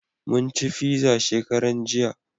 Mun ci fiza shekaran jiya